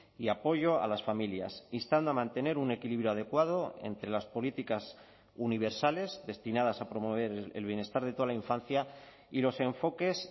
y apoyo a las familias instando a mantener un equilibrio adecuado entre las políticas universales destinadas a promover el bienestar de toda la infancia y los enfoques